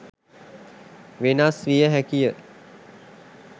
වෙනස් වියහැකිය.